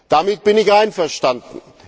Damit bin ich einverstanden.